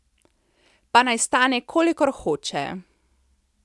Pa naj stane, kolikor hoče!